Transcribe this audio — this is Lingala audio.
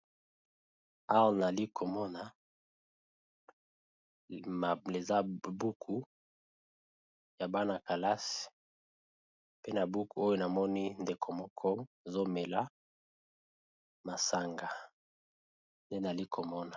Awa nali ko mona eza buku ya bana kelasi pe na buku oyo na moni ndeko moko azo mela masanga nde nali ko mona .